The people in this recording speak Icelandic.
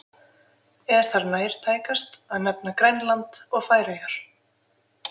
Er þar nærtækast að nefna Grænland og Færeyjar.